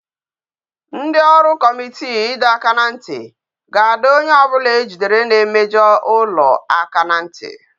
Ndi ọrụ Kọmitii ido aka na nti ga ado onye obula ejidere na emejo ulo aka na nti